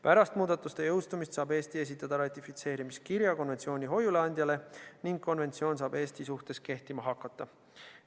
Pärast muudatuste jõustumist saab Eesti esitada ratifitseerimiskirja konventsiooni hoiuleandjale ning konventsioon saab Eesti suhtes kehtima hakata.